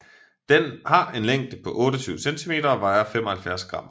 Den har en længde på 28 cm og vejer 75 gram